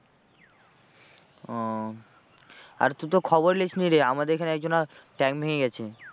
ও আর তুই তো খবরই নিসনি রে আমাদের এখানে এক জনার ট্যাং ভেঙে গেছে।